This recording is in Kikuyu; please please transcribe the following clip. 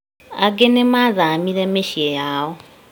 Angĩ nĩmathamire mĩciĩ yao